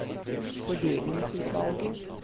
fordelingsutvalget